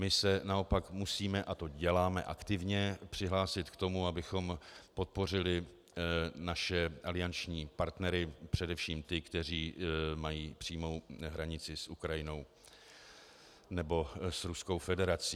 My se naopak musíme, a to děláme aktivně, přihlásit k tomu, abychom podpořili naše alianční partnery, především ty, kteří mají přímou hranici s Ukrajinou nebo s Ruskou federací.